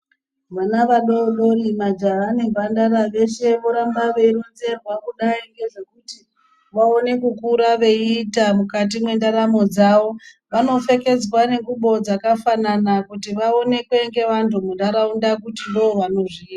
Vana vadodori majaha nemhandara veshe voramba veironzerwa kudai ngezvekuita vaone kukura veita mukati mendaramo dzavo. Vanopfekedzwa nengubo dzakafanana kuti vaonekwe ngevantu munharaunda kuti ndivo vanozviita.